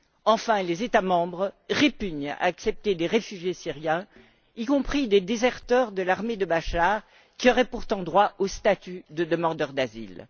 Enfin, les États membres répugnent à accepter des réfugiés syriens, y compris des déserteurs de l'armée de Bachar, qui auraient pourtant droit au statut de demandeurs d'asile.